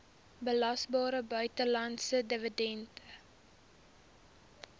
belasbare buitelandse dividend